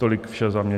Tolik vše za mě.